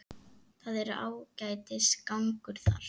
Það er ágætis gangur þar.